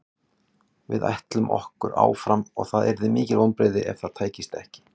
Við ætlum okkur áfram og það yrðu mikil vonbrigði ef það tækist ekki.